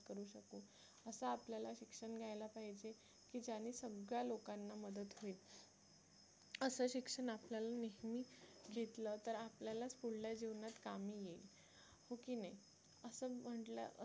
असं आपल्याला शिक्षण घ्यायला पाहिजे की ज्याने सगळ्या लोकांना मदत होईल असं शिक्षण आपल्याला नेहमी घेतलं तर आपल्यालाच पुढल्या जीवनात कामी येईल हो की नाही असं म्हटलं